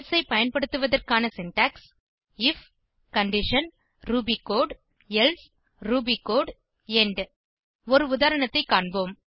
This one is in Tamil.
எல்சே ஐ பயன்படுத்துவதற்கான syntax IF condition Ruby code else Ruby code end ஒரு உதாரணத்தை காண்போம்